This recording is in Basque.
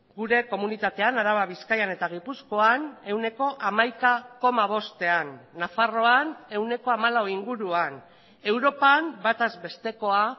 gure komunitatean araba bizkaian eta gipuzkoan ehuneko hamaika koma bostean nafarroan ehuneko hamalau inguruan europan bataz bestekoa